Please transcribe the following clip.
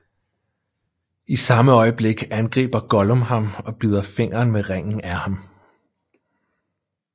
I samme øjeblik angriber Gollum ham og bider fingeren med Ringen af ham